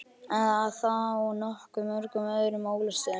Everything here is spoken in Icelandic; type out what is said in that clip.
Að þó nokkuð mörgum öðrum ólöstuðum.